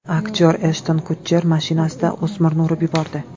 Aktyor Eshton Kutcher mashinasida o‘smirni urib yubordi.